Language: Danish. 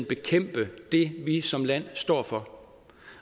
bekæmpe det vi som land står for